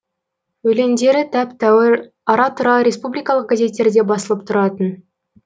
өлеңдері тәп тәуір ара тұра республикалық газеттерде басылып тұратын